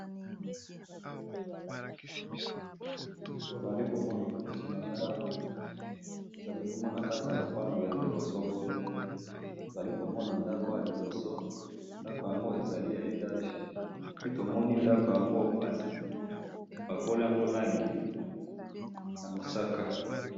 Na moni na kati ya sani ba tondolo ebele na kati, batiyaki ba mbuma na kati po baliya malamu.